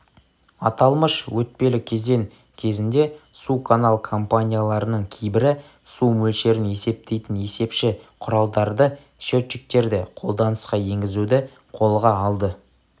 аталмыш өтпелі кезең кезінде суканал компанияларының кейбірі су мөлшерін есептейтін есепші құралдардарды счетчиктерді қолданысқа енгізуді қолға алды